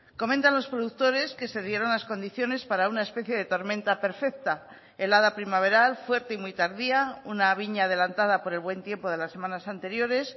comentan los productores que se dieron las condiciones para una especie de tormenta perfecta helada primaveral fuerte y muy tardía una viña adelantada por el buen tiempo de las semanas anteriores